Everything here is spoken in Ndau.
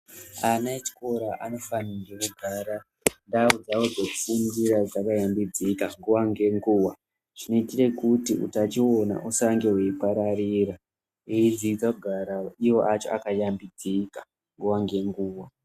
Ana echikora anofanirwa kugara ndau dzavo dzeku fundira dzaka yambidzika nguva nge nguva chinoitire kuti utachiona usange wei pararira eyidzidza kugara ivo vaka shambidzika nguva nge nguva.